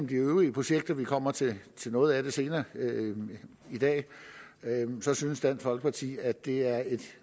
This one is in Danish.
de øvrige projekter vi kommer til noget af det senere i dag så synes dansk folkeparti at det er et